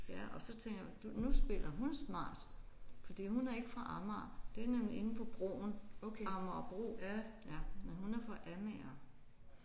Ja og så tænker jeg du nu spiller hun smart fordi hun er ikke fra Amager det er nemlig inde på broen Amagerbro ja men hun er fra Amager